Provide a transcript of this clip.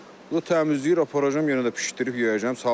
Təmizləyir aparacam yenə də bişdirib yeyəcəm.